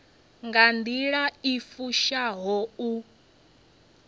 nga nḓila i fushaho u